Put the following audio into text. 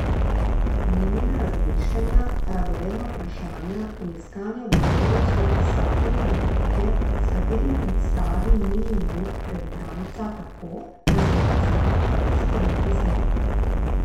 Minina razmišljanja, radovedna vprašanja in iskanje odgovorov so pisateljevo orodje, s katerim predstavi Minin lik pred bralca tako, da se ta zlahka poistoveti z njim.